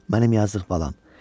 "Mənim yazdıq balam.